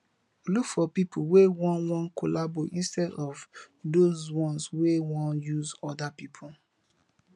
look for pipo wey wan collabo instead of those ones we wan use oda pipo